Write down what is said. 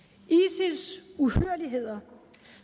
isil’s uhyrligheder